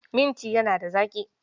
Minti yana da zaƙi